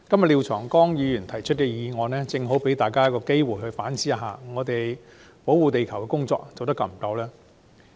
廖長江議員今天提出的議案，正好提醒大家反思：我們有否充分保護地球？